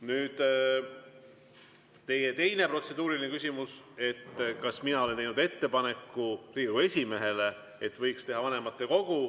Nüüd teie teine protseduuriline küsimus, kas mina olen teinud ettepaneku Riigikogu esimehele, et võiks kokku kutsuda vanematekogu.